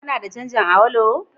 Kana da canjin Awolowo?